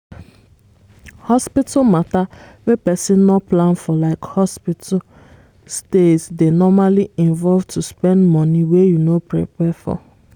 hospital matter wey person no plan forlike hospital stays dey normally involve to spend money wey you no prepare for